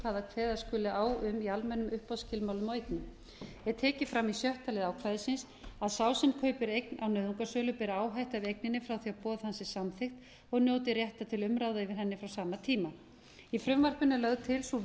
hvað kveða skuli á um í almennum uppboðsskilmálum á eignum er tekið fram í sjötta lið ákvæðisins að sá sem kaupir eign á nauðungarsölu ber áhættu af eigninni frá því boð hans er samþykkt og njóti réttar til umræða yfir henni frá sama tíma í frumvarpinu er lögð til sú